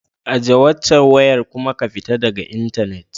Ajiye waccan wayar kuma ku fita daga intanet.